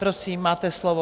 Prosím, máte slovo.